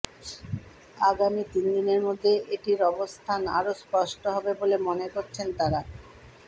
আগামী তিনদিনের মধ্যে এটির অবস্থান আরও স্পষ্ট হবে বলে মনে করছেন তারা